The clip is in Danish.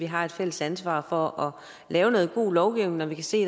har et fælles ansvar for at lave noget god lovgivning når vi kan se